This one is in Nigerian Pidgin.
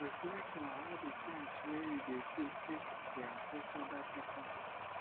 reflect on how di things wey you dey do take dey affect oda pipo